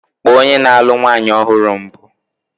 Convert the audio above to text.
Kpọọ onye na-alụ nwanyị ọhụrụ mbụ!